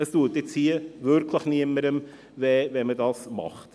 Das tut nun wirklich keinem weh, wenn man es hier so macht.